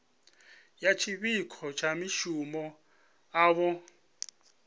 ya tshiṱoko tsha masimu avho